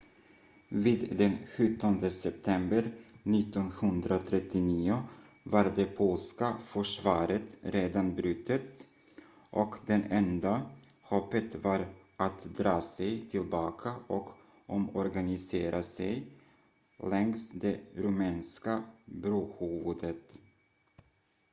vid den 17 september 1939 var det polska försvaret redan brutet och det enda hoppet var att dra sig tillbaka och omorganisera sig längs det rumänska brohuvudet